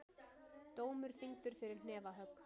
Dómur þyngdur fyrir hnefahögg